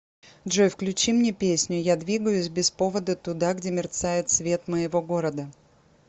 джой включи мне песню я двигаюсь без повода туда где мерцает свет моего города